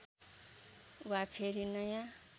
वा फेरि नयाँ